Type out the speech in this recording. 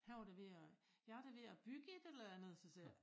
Han var da ved at jeg er da ved at bygge et eller andet så siger jeg